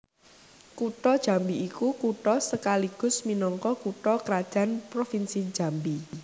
Kutha Jambi iku kutha sekaligus minangka kutha krajan Provinsi Jambi